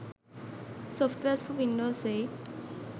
softwares for windows 8